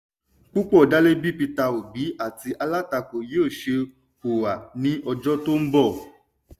púpọ̀ dálé bí peter obi àti alátakó yóò ṣe hùwà ní ọjọ́ tó ń bọ̀.